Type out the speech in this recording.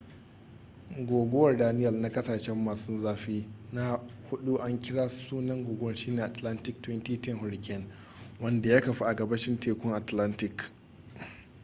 guguwar daniell na kasashe masun zafi na hudu an kira sunan guguwar shine atlantic 2010 hurricane wanda ya kafu a gabashin tekun atlantic